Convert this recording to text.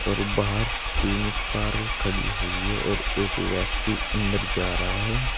और बाहर तीन कारें खड़ी हुई है और एक व्यक्ति अंदर जा रहा है।